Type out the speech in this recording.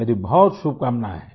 मेरी बहुत शुभकामनाएं हैं